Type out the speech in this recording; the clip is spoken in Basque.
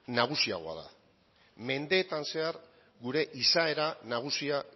nagusiagoa da mendeetan zehar gure izaera nagusia